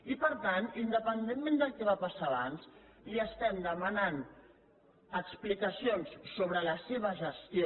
i per tant independentment del que va passar abans li estem demanant explicacions sobre la seva gestió